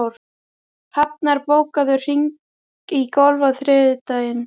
Hrafnar, bókaðu hring í golf á þriðjudaginn.